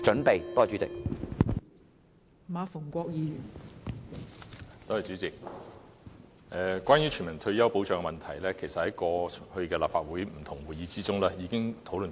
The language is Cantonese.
代理主席，關於全民退休保障的問題，其實過去在立法會不同的會議中，已經討論甚多。